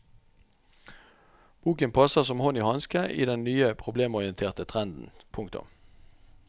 Boken passer som hånd i hanske i den nye problemorienterte trenden. punktum